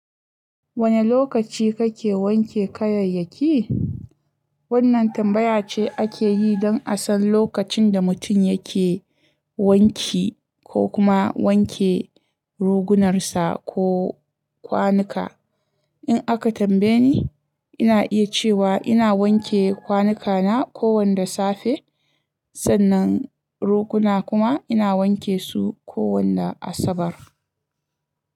Wane lokaci kake wanke kayayyaki? Wannan tambaya ce ake yi don a san lokacin da mutum yake wanki ko kuma wanke rugunarsa ko kwanuka. In aka tambaye ni, ina iya cewa ina wanke kwanuka na kowanda safe. Sannan roguna kuma ina wanke su kowanna Asabar.